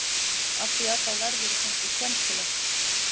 Afþvíað þá verðurðu kannski skemmtileg.